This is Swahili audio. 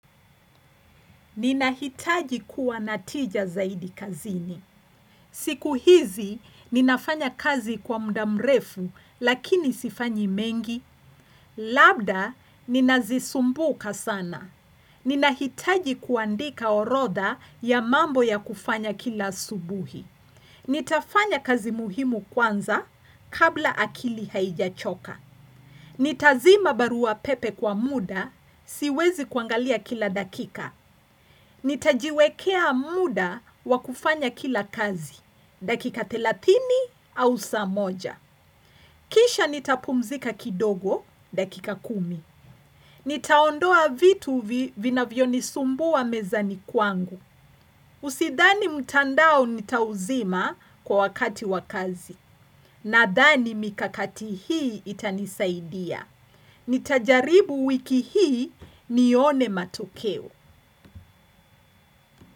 Ninahitaji kuwa na tija zaidi kazini. Siku hizi, ninafanya kazi kwa muda mrefu lakini sifanyi mengi. Labda, ninazisumbuka sana. Ninahitaji kuandika orodha ya mambo ya kufanya kila asubuhi. Nitafanya kazi muhimu kwanza kabla akili haijachoka. Nitazima barua pepe kwa muda siwezi kuangalia kila dakika. Nitajiwekea muda wakufanya kila kazi, dakika thelatini au saa moja. Kisha nitapumzika kidogo, dakika kumi. Nitaondoa vitu vinavyonisumbua mezani kwangu. Usidhani mtandao nitauzima kwa wakati wa kazi. Nadhani mikakati hii itanisaidia. Nitajaribu wiki hii nione matokeo.